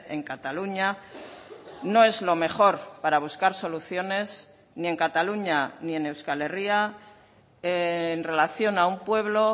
en cataluña no es lo mejor para buscar soluciones ni en cataluña ni en euskal herria en relación a un pueblo